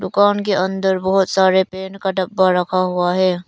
दुकान के अंदर बहोत सारे पेंट का डब्बा रखा हुआ है।